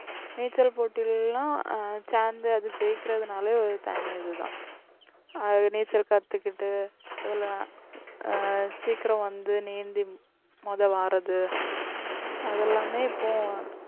நீச்சல் போட்டியில எல்லாம் சேர்ந்து அது ஜெயிக்கிறதுனாலே தனி அதுதான் அது நீச்சல் கத்துக்கிட்டு எல்லாம் ஆஹ் சீக்கிரம் வந்து நீந்தி முதல் வாரது அதெல்லாமே இப்போ